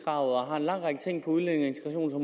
og har en lang række ting på udlændinge